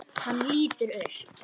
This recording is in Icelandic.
Hann lítur upp.